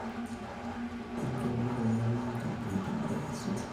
enchopo nkilani e interview aitobiraki e suti